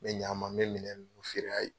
N bɛ ɲ'a ma, n bɛ minɛ ninnu feer'a ye.